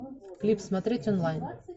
клип смотреть онлайн